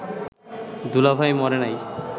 দুলাভাই মরে নাই